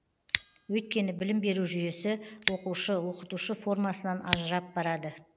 өйткені білім беру жүйесі оқушы оқытушы формасынан ажырап барады